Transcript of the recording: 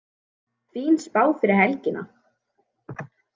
Fín spá fyrir helgina